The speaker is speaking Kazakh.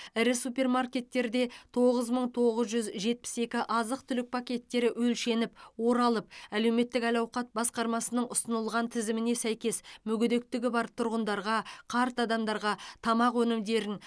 ірі супермаркеттерде тоғыз мың тоғыз жүз жетпіс екі азық түлік пакеттері өлшеніп оралып әлеуметтік әл ауқат басқармасының ұсынылған тізіміне сәйкес мүгедектігі бар тұрғындарға қарт адамдарға тамақ өнімдерін